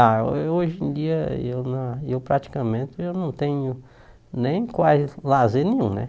Ah, eu eu hoje em dia eu na eu praticamente eu não tenho nem quase lazer nenhum, né?